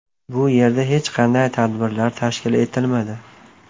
Bu yerda hech qanday tadbirlar tashkil etilmadi.